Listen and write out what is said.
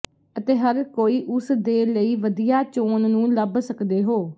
ਅਤੇ ਹਰ ਕੋਈ ਉਸ ਦੇ ਲਈ ਵਧੀਆ ਚੋਣ ਨੂੰ ਲੱਭ ਸਕਦੇ ਹੋ